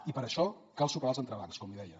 i per això cal superar els entrebancs com li deia